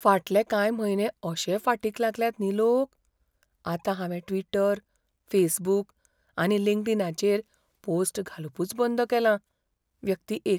फाटले कांय म्हयने अशे फाटीक लागल्यात न्ही लोक, आतां हांवें ट्विटर, फेसबूक आनी लिंक्डइनाचेर पोस्ट घालपूच बंद केलां. व्यक्ती एक